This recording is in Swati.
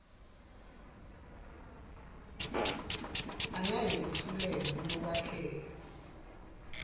angeke kuhluke kulokwakheka